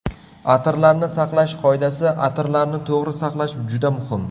Atirlarni saqlash qoidasi Atirlarni to‘g‘ri saqlash juda muhim.